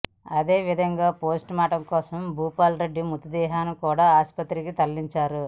అదేవిధంగా పోస్టుమార్టం కోసం భూపాల్ రెడ్డి మృతదేహాన్ని కూడా ఆస్పత్రికి తరలించారు